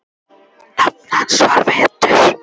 Nafn hans er Vetur.